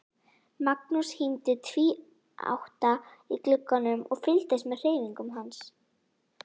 Magnús hímdi tvíátta í glugganum og fylgdist með hreyfingum hans.